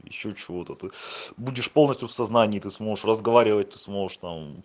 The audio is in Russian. ещё чего-то ты будешь полностью в сознании ты сможешь разговаривать ты сможешь там